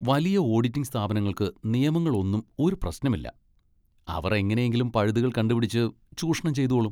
വലിയ ഓഡിറ്റിങ് സ്ഥാപനങ്ങൾക്ക് നിയമങ്ങൾ ഒന്നും ഒരു പ്രശ്നം ഇല്ല, അവർ എങ്ങനെയെങ്കിലും പഴുതുകൾ കണ്ടുപിടിച്ച് ചൂഷണം ചെയ്തോളും.